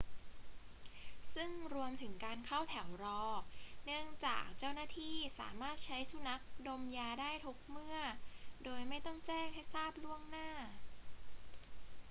ซึ่งรวมถึงการเข้าแถวรอ เนื่องจากเจ้าหน้าที่สามารถใช้สุนัขดมยาได้ทุกเมื่อโดยไม่ต้องแจ้งให้ทราบล่วงหน้า